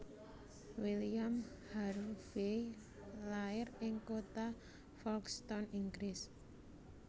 William Harvey lair ing kota Folkstone Inggris